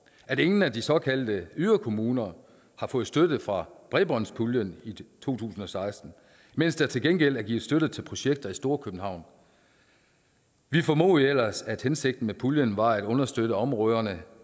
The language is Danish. at ingen af de såkaldte yderkommuner har fået støtte fra bredbåndspuljen i to tusind og seksten mens der til gengæld er givet støtte til projekter i storkøbenhavn vi formodede ellers at hensigten med puljen var at understøtte områder